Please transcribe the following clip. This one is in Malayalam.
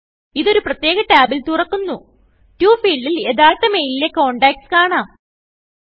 ഇത് ഒരു പ്രത്യേക ടാബിൽ തുറക്കുന്നുToഫീൽഡിൽ യഥാർത്ഥ മെയിലിലെ contactsകാണാം